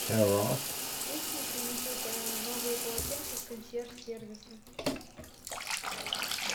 пусть мне принесут новые полотенца с консьерж сервиса